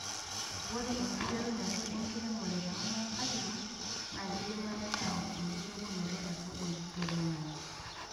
Ore enkiterunoto enkiremore te kuna katitin naa keidamayu neyawua enkilepunoto e kabon toiloing'ang'e.